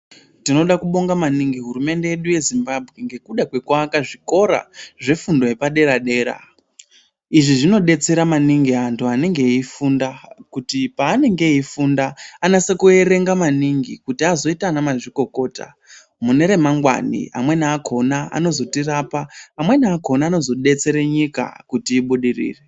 Tinoda kubonga maningi hurumende yedu yeZimbabwe ngekuda kwekuaka zvikora zvefundo yepadera dera izvi zvinodetsera maningi anhu anenge eifundira kutipaanenge eifunda anetse kuwerenge maningi kuti azoite ana mazvikokoto mune ramangwani amweni akona anozotirapa amweni akona anozodetsera nyika kuti ibudirire.